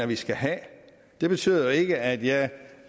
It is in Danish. vi skal have det betyder ikke at jeg